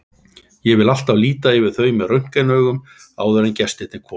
Ég vil alltaf líta yfir þau með röntgenaugum áður en gestirnir koma.